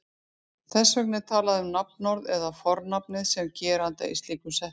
Þess vegna er talað um nafnorðið eða fornafnið sem geranda í slíkum setningum.